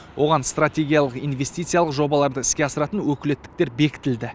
оған стратегиялық инвестициялық жобаларды іске асыратын өкілеттіктер бекітілді